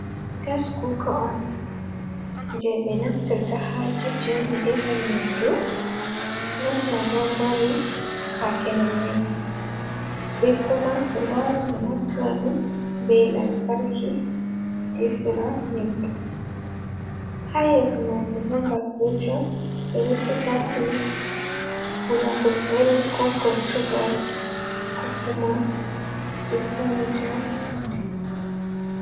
Gas kuga on je ɓe naftata ha kicin ɓe defa nyamdu, gas man ɗon mari katene mai be kuma ɓe wawan ɓe naftira ɗum be lamtarki defira nyamdu, ha yeso majun ɗon ba firis on ɓe ɗo siga wula kusel, ko gortugal, ko kuma ɓe foynita nyamdu.